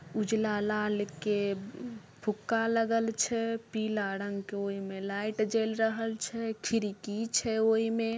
उजला लाल के म-फुक्का लगल छै पीला रंग के ओय में लाइट जेएल रहल छै खिड़की छै ओय में---